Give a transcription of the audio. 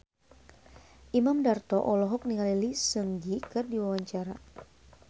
Imam Darto olohok ningali Lee Seung Gi keur diwawancara